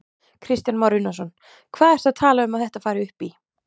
Kristján Már Unnarsson: Hvað ertu að tala um að þetta fari upp í?